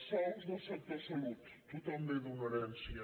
sous del sector salut tothom ve d’una herència